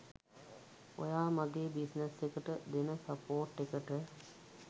ඔයා මගේ බිස්නස් එකට දෙන සපෝට් එකට.